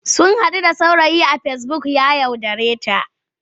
Sun haɗu da saurayi a fesibuk ya yaudareta.